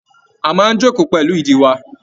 A máa n joko pẹlú ìdí wà.